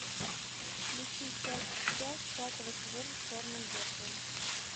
включи часть пять пятого сезона черное зеркало